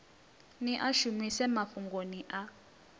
ni a shumise mafhungoni a